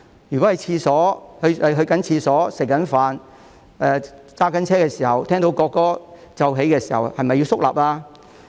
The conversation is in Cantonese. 如果在上廁所或吃飯期間，甚至是駕車時聽到國歌奏起，是否要肅立呢？